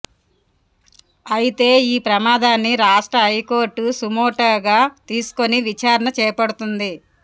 అయితే ఈ ప్రమాదాన్ని రాష్ట్ర హైకోర్టు సుమోటోగా తీసుకొని విచారణ చేపడుతోంది